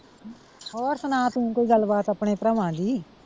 ਹੋਰ ਸਣਾ ਤੂੰ ਕੋਈ ਗੱਲ ਬਾਤ ਆਪਣੇ ਭਰਾਵਾਂ ਦੀ।